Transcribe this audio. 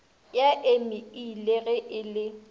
ya emeile ge e le